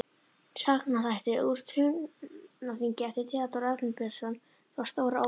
Sagnaþættir úr Húnaþingi eftir Theódór Arnbjörnsson frá Stóra-Ósi